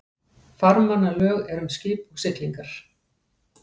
Farmannalög eru um skip og siglingar.